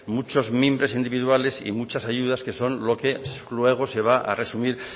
muchos mimbres individuales y muchas ayudas que son lo que luego se va a resumir